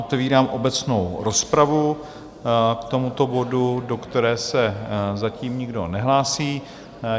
Otevírám obecnou rozpravu k tomuto bodu, do které se zatím nikdo nehlásí.